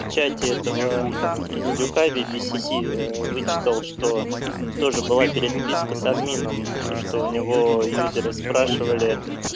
печать этого мм индюка би би си си ээ вычитал что тоже была переписка с админом что у него юзера спрашивали